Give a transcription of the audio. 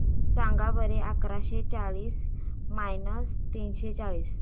सांगा बरं अकराशे चाळीस मायनस तीनशे चाळीस